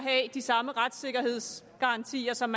de samme retssikkerhedsgarantier som